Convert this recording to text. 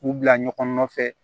K'u bila ɲɔgɔn nɔfɛ